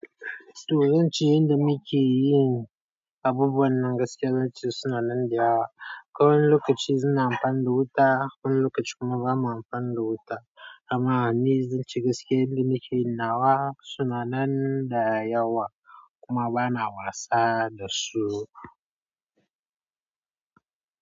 To zan ce yanda muke yi abubuwan nan gaskiya zan ce suna nan da yawa. Akwai wani lokaci suna amfani da wuta, wani lokaci kuma ba ma amfani da wuta. Kamani zan ce gaskiya inda nake nawa suna nan da yawa kuma bana wasa da su.